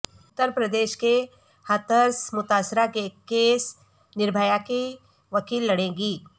اترپردیش کے ہتھرس متاثرہ کے کیس نربھیا کی وکیل لڑیں گی